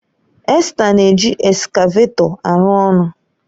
Esther na-eji eskavetọ arụ ọrụ